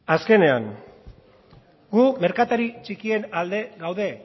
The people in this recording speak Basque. azkenean gu merkatari txikien alde gaude